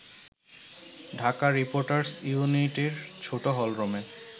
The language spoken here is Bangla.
ঢাকা রিপোর্টার্স ইউনিটির ছোট হলরুমে